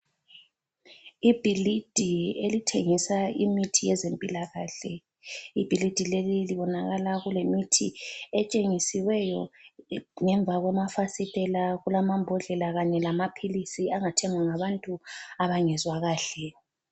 Ibhilidi elithengisa imithi yezempilakahle , ibhilidi leli libonakala kule mithi etshengisiweyo ngemva kwama fasitela kulamambondlela Kanye lamaphilisi angathengwa ngabantu abangezwa kahle